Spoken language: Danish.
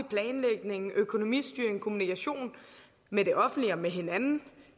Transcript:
planlægning økonomistyring kommunikation med det offentlige og med hinanden